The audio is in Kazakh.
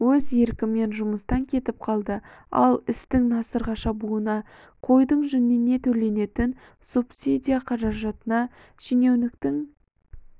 өз еркімен жұмыстан кетіп қалды ал істің насырға шабуына қойдың жүніне төленетін субсидия құжатына шенеуніктің